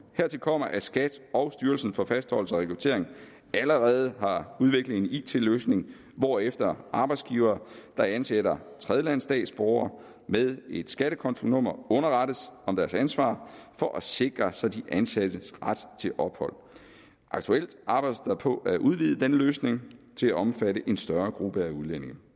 hertil kommer at skat og styrelsen for fastholdelse og rekruttering allerede har udviklet en it løsning hvorefter arbejdsgivere der ansætter tredjelandsstatsborgere med et skattekontonummer underrettes om deres ansvar for at sikre sig de ansattes ret til ophold aktuelt arbejdes der på at udvide denne løsning til at omfatte en større gruppe af udlændinge